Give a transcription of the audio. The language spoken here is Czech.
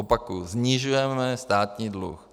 Opakuju - snižujeme státní dluh.